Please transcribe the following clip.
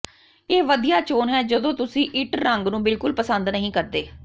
ਇਹ ਵਧੀਆ ਚੋਣ ਹੈ ਜਦੋਂ ਤੁਸੀਂ ਇੱਟ ਰੰਗ ਨੂੰ ਬਿਲਕੁਲ ਪਸੰਦ ਨਹੀਂ ਕਰਦੇ